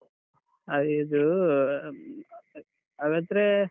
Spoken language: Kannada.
ಹಾ ಇದು ಹಾಗಾದ್ರೆ.